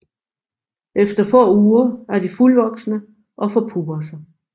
Efter få uger er de fuldvoksne og forpupper sig